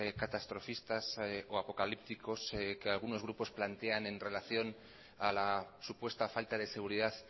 catastrofistas o apocalípticos que algunos grupos plantean en relación a la supuesta falta de seguridad